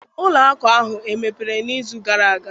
Ụlọ akụ ahụ emepere n'izu gara aga?